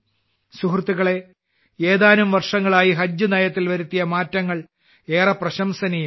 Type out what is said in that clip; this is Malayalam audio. സുഹൃത്തുക്കളേ കഴിഞ്ഞ ഏതാനും വർഷങ്ങളായി ഹജ്ജ് നയത്തിൽ വരുത്തിയ മാറ്റങ്ങൾ ഏറെ പ്രശംസനീയമാണ്